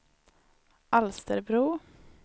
Alsterbro